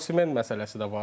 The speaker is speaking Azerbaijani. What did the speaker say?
Və Omen məsələsi də var.